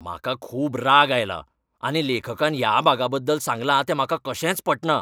म्हाका खूब राग आयला आनी लेखकान ह्या भागा बद्दल सांगलां तें म्हाका कशेंच पटना.